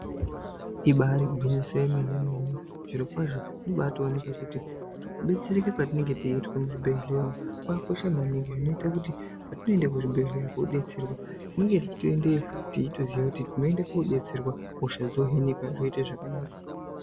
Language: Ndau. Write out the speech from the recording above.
Ibaari gwinyiso yemene-mene zvirokwazvo zvinobaatooneka kuti kudetsereke kwetinenge teiitwa muzvibhehlera umu kwakakosha maningi zvinoite kuti patinoende kuzvibhedhlera koodetserwa tinenge teitoendeyo teitoziya kuti tinoende koodetserwa, hosha dzohinika, zvoite zvakanaka.